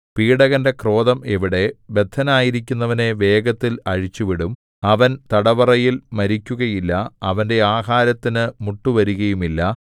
പീഡകന്റെ ക്രോധം എവിടെ ബദ്ധനായിരിക്കുന്നവനെ വേഗത്തിൽ അഴിച്ചുവിടും അവൻ തടവറയിൽ മരിക്കുകയില്ല അവന്റെ ആഹാരത്തിന് മുട്ടുവരുകയുമില്ല